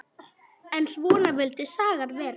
En svona vildi sagan vera